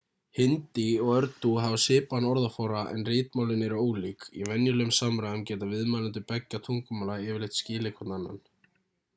hindí og úrdú hafa svipaðan orðaforða en ritmálin eru ólík í venjulegum samræðum geta viðmælendur beggja tungumála yfirleitt skilið hvorn annan